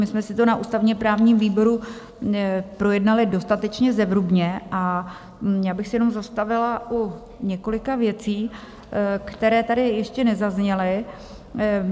My jsme si to na ústavně-právním výboru projednali dostatečně zevrubně a já bych se jenom zastavila u několika věcí, které tady ještě nezazněly.